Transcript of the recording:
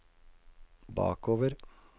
bakover